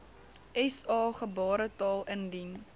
sa gebaretaal indien